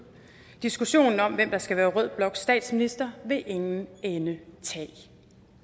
diskussionen om hvem der skal være rød bloks statsminister vil ingen ende tage